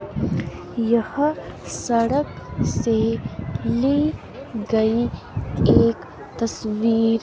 यह सड़क से ली गई एक तस्वीर--